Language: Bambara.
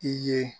I ye